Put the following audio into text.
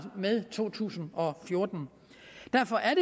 med to tusind og fjorten derfor er